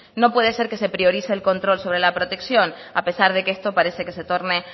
no puede ser que se priorice el control sobre la protección a pesar de que esto parece que se torne